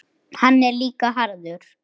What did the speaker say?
Hann er líka harður.